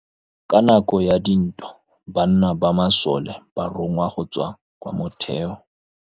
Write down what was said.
Ka nakô ya dintwa banna ba masole ba rongwa go tswa kwa mothêô.